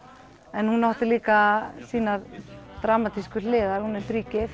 en hún átti líka sínar dramatísku hliðar hún er